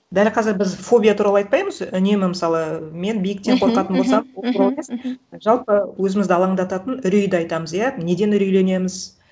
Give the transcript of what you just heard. дәл қазір біз фобия туралы айтпаймыз үнемі мысалы мен биіктен қорқатын болсам ол туралы емес жалпы өзімізді алаңдататын үрейді айтамыз иә неден үрейленеміз